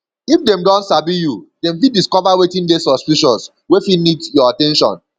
if dem don sabi you dem fit discover wetin de suspicious wey fit need your at ten tion